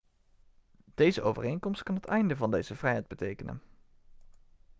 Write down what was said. deze overeenkomst kan het einde van deze vrijheid betekenen